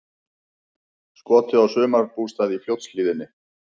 Skotið á sumarbústað í Fljótshlíðinni